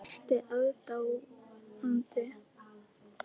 Ertu aðdáandi?